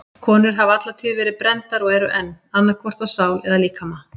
Konur hafa alla tíð verið brenndar og eru enn, annað hvort á sál eða líkama.